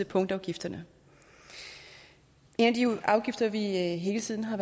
punktafgifterne en af de afgifter vi hele tiden har